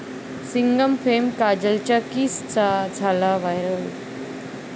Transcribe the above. सिंघम'फेम काजलच्या किसचा झाला व्हायरल